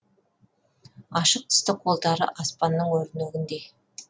ашық түсті қолдары аспанның өрнегіндей